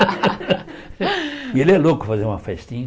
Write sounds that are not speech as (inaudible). (laughs) E ele é louco fazer uma festinha.